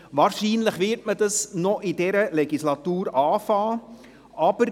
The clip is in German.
Wahrscheinlich wird man damit noch während dieser Legislatur beginnen.